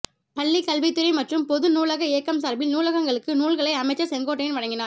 பள்ளி கல்வித்துறை மற்றும் பொது நூலக இயக்கம் சார்பில் நூலகங்களுக்கு நூல்களை அமைச்சர் செங்கோட்டையன் வழங்கினார்